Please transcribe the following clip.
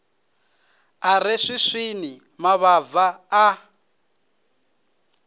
i re swiswini mavhava a